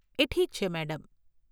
એ ઠીક છે મેડમ.